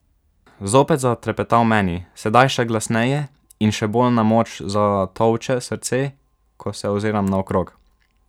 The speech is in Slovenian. Zopet zatrepeta v meni, sedaj še glasneje in še bolj na moč zatolče srce, ko se oziram naokrog.